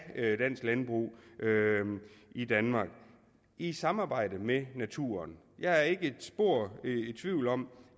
dansk landbrug i danmark i samarbejde med naturen jeg er ikke spor i tvivl om